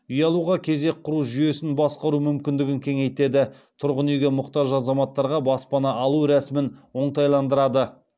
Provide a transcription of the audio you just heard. үй алуға кезек құру жүйесін басқару мүмкіндігін кеңейтеді тұрғын үйге мұқтаж азаматтарға баспана алу рәсімін оңтайландырады